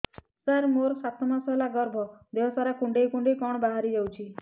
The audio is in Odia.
ସାର ମୋର ସାତ ମାସ ହେଲା ଗର୍ଭ ଦେହ ସାରା କୁଂଡେଇ କୁଂଡେଇ କଣ ବାହାରି ଯାଉଛି